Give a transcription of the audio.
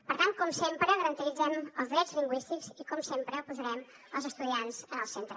per tant com sempre garantirem els drets lingüístics i com sempre posarem els estudiants en el centre